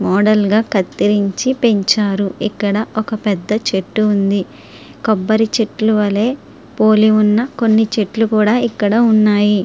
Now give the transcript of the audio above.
మోడల్గా కత్తిరించి పెంచారు ఇక్కడ ఒక పెద్ద చెట్టు ఉంది కొబ్బరి చెట్లు వలే పోలి ఉన్న కొన్ని చెట్లు కూడా ఇక్కడ ఉన్నాయి.